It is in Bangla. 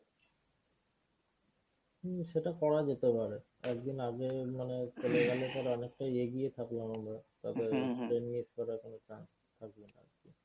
হম সেটা করা যেতে পারে। একদিন আগে মানে চলে গেলে ধর অনেকটাই এগিয়ে থাকলাম আমরা train miss করার কোনো chance থাকবে না আরকি।